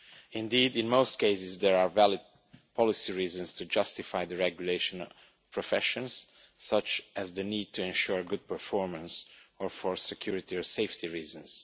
Indeed, in most cases, there are valid policy reasons to justify the regulation of professions, such as the need to ensure good performance or for security or safety reasons.